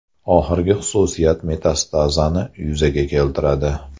Oxirgi xususiyat metastazani yuzaga keltiradi.